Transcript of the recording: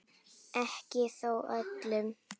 Ekki þó öllum.